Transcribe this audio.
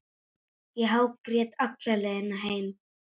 Ég hágrét alla leiðina heim.